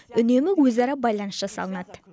үнемі өзара байланыс жасалынады